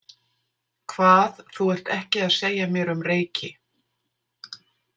Hvað þú ert ekki að segja mér um Reyki?